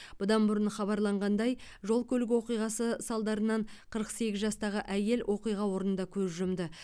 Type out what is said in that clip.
бұдан бұрын хабарланғандай жол көлік оқиғасы салдарынан қырық сегіз жастағы әйел оқиға орнында көз жұмды